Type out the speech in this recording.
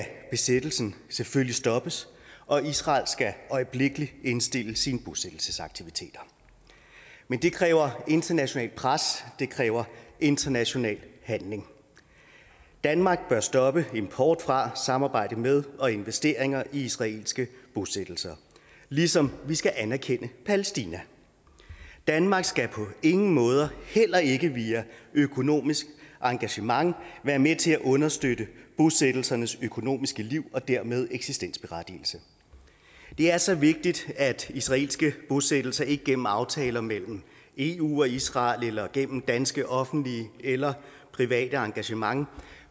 besættelsen selvfølgelig stoppes og israel skal øjeblikkelig indstille sine bosættelsesaktiviteter men det kræver internationalt pres det kræver international handling danmark bør stoppe import fra samarbejde med og investeringer i israelske bosættelser ligesom vi skal anerkende palæstina danmark skal på ingen måde heller ikke via økonomisk engagement være med til at understøtte bosættelsernes økonomiske liv og dermed eksistensberettigelse det er så vigtigt at israelske bosættelser ikke gennem aftaler mellem eu og israel eller gennem danske offentlige eller private engagementer